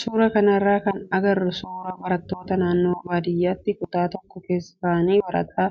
Suuraa kanarraa kan agarru suuraa barattoota naannoo baadiyyatti kutaa tokko keessa taa'anii barataa